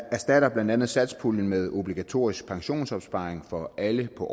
erstatter blandt andet satspuljen med obligatorisk pensionsopsparing for alle på